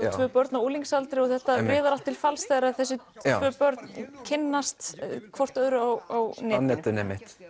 tvö börn á unglinsaldri og þetta miðar til falls þegar þessi tvö börn kynnast hvort öðru á netinu